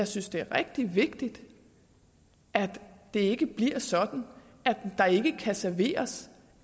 synes det er rigtig vigtigt at det ikke bliver sådan at der ikke kan serveres